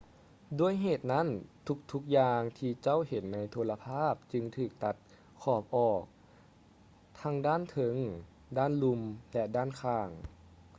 ດ້ວຍເຫດນັ້ນ ທຸກໆຢ່າງທີ່ເຈົ້າເຫັນໃນໂທລະພາບຈຶ່ງຖືກຕັດຂອບອອກ ທັງດ້ານເທິງ ດ້ານລຸ່ມ ແລະ ດ້ານຂ້າງ